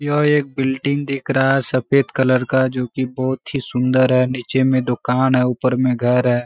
यह एक बिल्डिंग दिख रहा है सफेद कलर का जो की बहोत ही सुंदर है नीचे में दुकान है ऊपर में घर है।